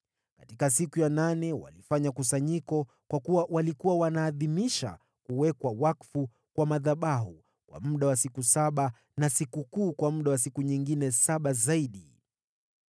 Katika siku ya nane walifanya kusanyiko, kwa kuwa walikuwa wanaadhimisha kuwekwa wakfu kwa madhabahu kwa muda wa siku saba na sikukuu kwa muda wa siku nyingine saba zaidi.